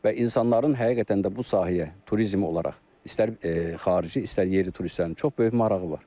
Və insanların həqiqətən də bu sahəyə turizm olaraq istər xarici, istər yerli turistlərin çox böyük marağı var.